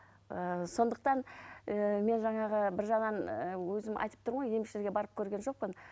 ыыы сондықтан ыыы мен жаңағы бір жағынан ы өзім айтып тұрмын ғой емшілерге барып көрген жоқпын